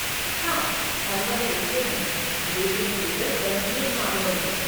हाँ, हम वह लिखते हैं, लेकिन केवल गंभीर मामलों में।